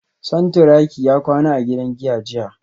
Santuraki ya kwana a gidan giya jiya